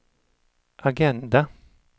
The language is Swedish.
agenda